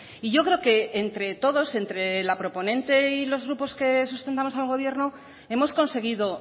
y yo creo que entre todos entre la proponente y los grupos que sustentamos al gobierno hemos conseguido